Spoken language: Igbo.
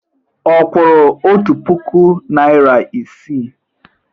Ọ kwụrụ otu puku naịra isii?